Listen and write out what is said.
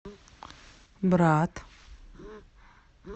брат